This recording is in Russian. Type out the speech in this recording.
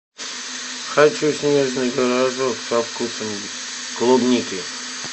хочу снежный рожок со вкусом клубники